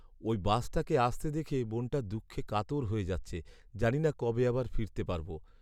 ওই বাসটাকে আসতে দেখে মনটা দুঃখে কাতর হয়ে যাচ্ছে। জানিনা কবে আবার ফিরতে পারব।